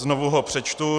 Znovu ho přečtu.